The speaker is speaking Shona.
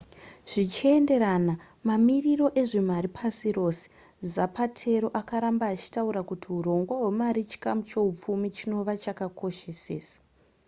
zvichienderana mamiriro ezvemari pasi rose zapatero akaramba achitaura kuti hurongwa hwemari chikamu chehupfumi chinova chakakoshesesa